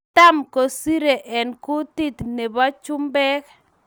Cham kosirei eng kutit tab chumbek